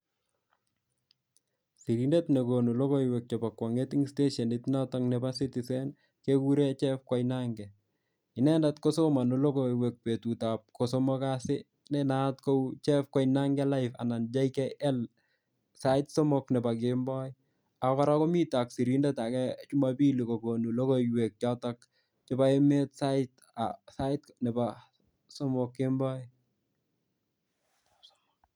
Sigindet ne konu logoiwek chebo kwong'et eng steneshit notok nebo citizen, kekure Jeff Koinange. Inendet kosomani logoiwek betut ap ko somok kasi, ne naat kou Jeff Koinge Live anan JKL, sait somok nebo kemboi. Ako kora komitei ak sirindet age Jumapili kokonu logoiwek chotok chebo emet sait um sait nebo somok kemboi